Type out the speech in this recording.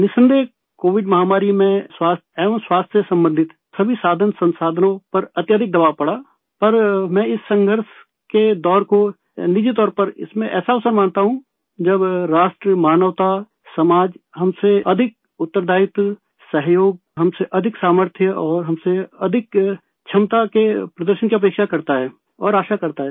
निसंदेह कोविड महामारी में स्वास्थ एवं स्वास्थ्य संबंधित सभी साधनसंसाधनों पर अत्यधिक दबाव पड़ा पर मैं इस संघर्ष के दौर को निजी तौर पर इसमें ऐसा अवसरमानता हूँ जब राष्ट्रमानवता समाज हमसे अधिक उत्तरदायित्व सहयोग हमसे अधिक सामर्थ्य और हमसे अधिक क्षमता के प्रदर्शन की अपेक्षा करता है और आशा करता है